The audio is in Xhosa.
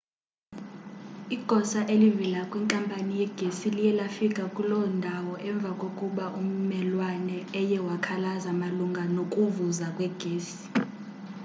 igosa elivela kwinkampani yegesi liye lafika kuloo ndawo emva kokuba ummelwane eye wakhalaza malunga nokuvuza kwegesi